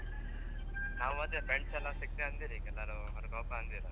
ನಾವು ಅದೇ friends ಎಲ್ಲ ಸಿಕ್ತೇವೆ ಅಂದಿರ್ ಈಗ ನಾವು ಹೊರಗ್ ಹೋಪ ಅಂದಿರ್.